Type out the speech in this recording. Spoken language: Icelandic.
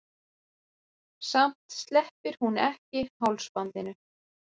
Samt sleppir hún ekki hálsbandinu.